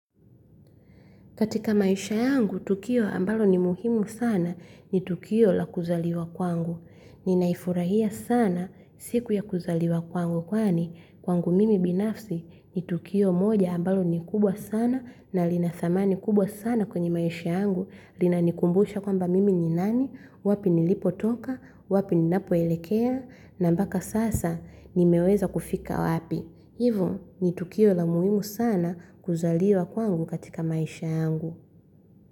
Katika maisha yangu, tukio ambalo ni muhimu sana ni tukio la kuzaliwa kwangu. Ninaifurahia sana siku ya kuzaliwa kwangu. Kwani, kwangu mimi binafsi ni tukio moja ambalo ni kubwa sana na linathamani kubwa sana kwenye maisha yangu. Linanikumbusha kwa mba mimi ni nani, wapi ni lipo toka, wapi ni napoelekea, na mbaka sasa ni meweza kufika wapi. Hivo ni tukio la muhimu sana kuzaliwa kwangu katika maisha yangu.